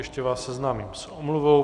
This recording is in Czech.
Ještě vás seznámím s omluvou.